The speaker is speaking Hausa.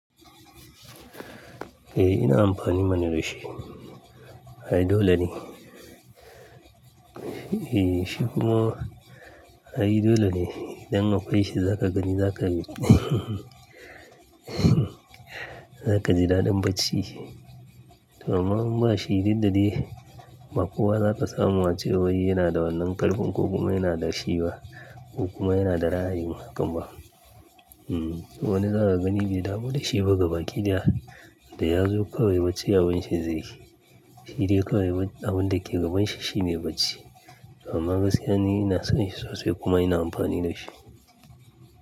Eh ina amfani mana da shi. Ai dole ne. Eh shiku ma? Ai dole ne. Dan akwai shi za ka gani za ka, za ka ji daɗin bacci. Amma muna shiri duk da dai. Bakowa zaka samu ace wai yana da wannan karfin ko kuma yana da shi ba ko kuma yana da ra'ayin, kam ba. Hmm. To wani za ka gani ba damu da shi ba ga baki ɗaya da ya zo kawai bacci abun shi zai yi. Shi dai kawai abin da ke gabanshi shi ne bacci. Amma gaskiya ni ina son shi sosai kuma ina amfani da shi.